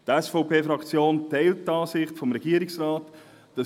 Die SVP-Fraktion teilt die Ansicht des Regierungsrates: